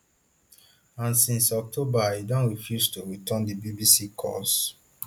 and since october e don refuse to return di bbc calls